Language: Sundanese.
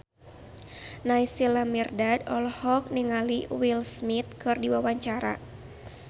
Naysila Mirdad olohok ningali Will Smith keur diwawancara